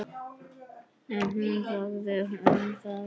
En hún þagði um það.